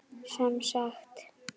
Sem sagt